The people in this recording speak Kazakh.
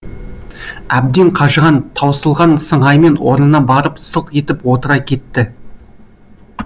әбден қажыған тауысылған сыңаймен орнына барып сылқ етіп отыра кетті